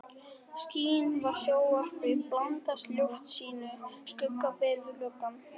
Skin frá sjónvarpi blandast loftljósinu, skugga ber við gluggann.